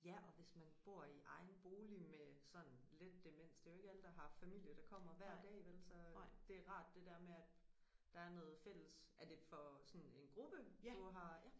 Ja og hvis man bor i egen bolig med sådan let demens det jo ikke alle der har familie der kommer hver dag vel så det rart det der med at der er noget fælles. Er det for sådan en gruppe du har ja